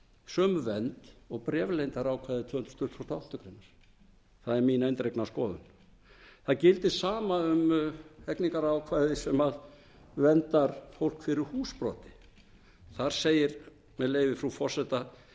sömu vernd og bréfleyndarákvæði tvö hundruð tuttugustu og áttundu grein það er mín eindregna skoðun það gildir sama um hegningarákvæði sem verndar fólk fyrir húsbroti þar segir með leyfi frú forseta